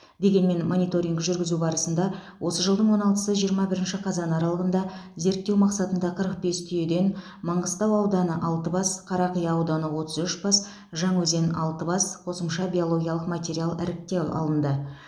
дегенмен мониторинг жүргізу барысында осы жылдың он алтысы жиырма бірінші қазан аралығында зерттеу мақсатында қырық бес түйеден маңғыстау ауданы алты бас қарақия ауданы отыз үш бас жаңаөзен алты бас қосымша биологиялық материал іріктеп алынды